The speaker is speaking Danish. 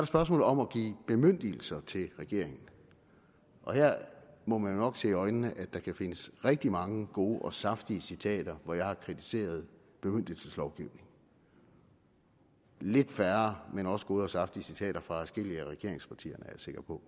spørgsmålet om at give bemyndigelser til regeringen her må man jo nok se i øjnene at der kan findes rigtig mange gode og saftige citater hvor jeg har kritiseret bemyndigelseslovgivning lidt færre men også gode og saftige citater fra adskillige af regeringspartierne er jeg sikker på